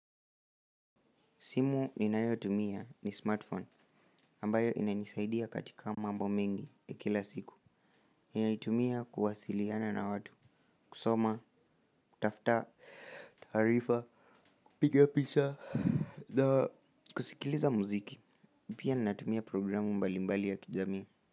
Simu ninayotumia ni smartphone ambayo inanisaidia katika mambo mengi ya kila siku. Ninaitumia kuwasiliana na watu, kusoma, kutafuta tarifa, kupiga picha na. Kusikiliza muziki, pia ninatumia programu mbalimbali za kijamii.